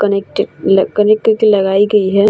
Connect ल connect कर के लगाई गई है।